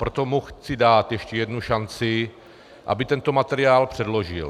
Proto mu chci dát ještě jednu šanci, aby tento materiál předložil.